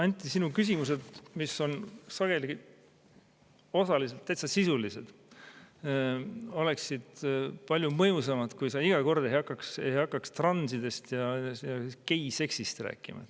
Anti, sinu küsimused, mis on sageli osaliselt täitsa sisulised, oleksid palju mõjusamad, kui sa iga kord ei hakkaks transidest ja geiseksist rääkima.